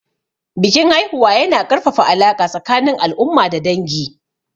Bikin haihuwa yana ƙarfafa alaƙa tsakanin al'umma da dangi.